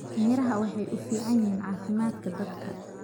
miraha waxay uu fican yihin cafimaadka dadka.